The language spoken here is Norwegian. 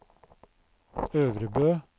Øvrebø